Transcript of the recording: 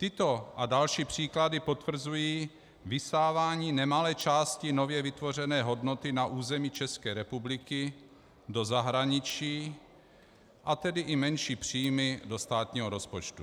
Tyto a další příklady potvrzují vysávání nemalé části nově vytvořené hodnoty na území České republiky do zahraniční, a tedy i menší příjmy do státního rozpočtu.